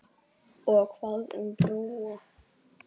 Og hvað um Bróa?